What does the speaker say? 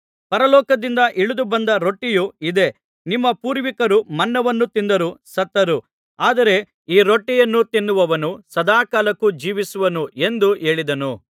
ಪರಲೋಕದಿಂದ ಇಳಿದು ಬಂದ ರೊಟ್ಟಿಯು ಇದೇ ನಿಮ್ಮ ಪೂರ್ವಿಕರು ಮನ್ನಾವನ್ನು ತಿಂದರೂ ಸತ್ತರು ಆದರೆ ಈ ರೊಟ್ಟಿಯನ್ನು ತಿನ್ನುವವನು ಸದಾಕಾಲಕ್ಕೂ ಜೀವಿಸುವನು ಎಂದು ಹೇಳಿದನು